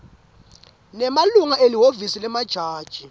nemalunga elihhovisi lemajaji